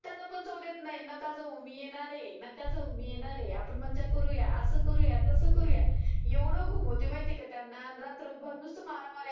त्यांना पण जाऊ देत नाही. नका जाऊ मी येणार आहे नका जाऊ मी येणार आहे. आपण मज्जा करुया असं करुया तसं करुया. एवढ घुमवते माहिती आहे का त्यांना रात्रभर नुस्त मारा मार्या